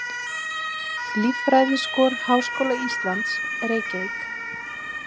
Líffræðiskor Háskóla Íslands, Reykjavík.